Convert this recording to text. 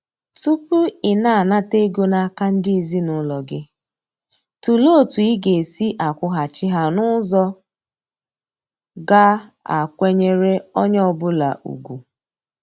Tupu ị na-anata ego n'aka ndị ezinaụlọ gị, tụlee otu ị ga-esi akwụghachi ha n'ụzọ ga a kwenyere onye ọ bụla ugwu.